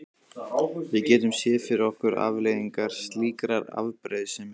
Við getum séð fyrir okkur afleiðingar slíkrar afbrýðisemi.